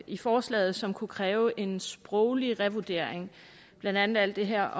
i forslaget som kunne kræve en sproglig revurdering blandt andet alt det her